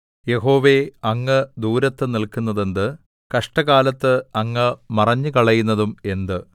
യഹോവേ അങ്ങ് ദൂരത്ത് നില്‍ക്കുന്നതെന്ത് കഷ്ടകാലത്ത് അങ്ങ് മറഞ്ഞുകളയുന്നതും എന്ത്